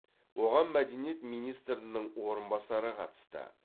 оған мәдениет министрінің орынбасары қатысты